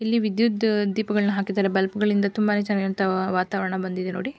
ಇಲ್ಲಿ ವಿದ್ಯುತ್ ದೀಪಗಳನ್ನು ಹಾಕಿದ್ದಾರೆ ಬಲ್ಬ್ ಗಳಿಂದ ತುಂಬಾನೇ ಚೆನ್ನಾಗಿರುವಂತಹ ವಾತಾವರಣ ಬಂದಿದೆ ನೋಡಿ.